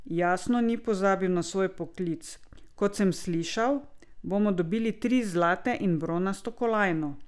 Jasno ni pozabil na svoj poklic: "Kot sem slišal, bomo dobili tri zlate in bronasto kolajno.